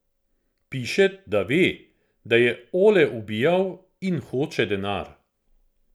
Piše, da ve, da je Ole ubijal, in hoče denar.